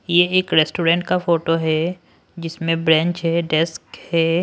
यह एक रेस्टोरेंट का फोटो है जिसमें बेंच है डेस्क है।